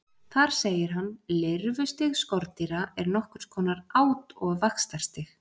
Þar segir hann: Lirfustig skordýra er nokkurs konar át- og vaxtarstig.